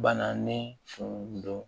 Bananen tun don